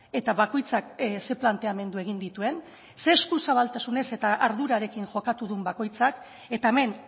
eta bakoitzak ze planteamendu egin dituen ze eskuzabaltasunez eta ardurarekin jokatu duen bakoitzak eta hemen